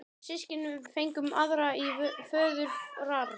Við systkinin fengum aðra í föðurarf.